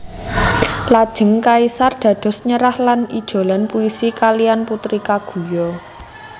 Lajeng kaisar dados nyerah lan ijolan puisi kalihan Putri Kaguya